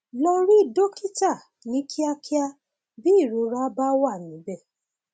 lọ rí dókítà ní kíákíá bí ìrora bá wà níbẹ